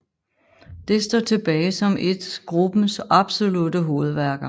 Det står tilbage som et gruppens absolutte hovedværker